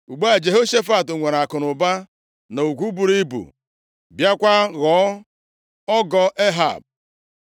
Ugbu a, Jehoshafat nwere akụnụba na ugwu buru ibu, bịakwa ghọọ ọgọ Ehab.